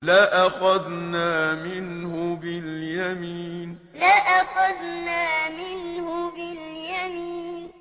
لَأَخَذْنَا مِنْهُ بِالْيَمِينِ لَأَخَذْنَا مِنْهُ بِالْيَمِينِ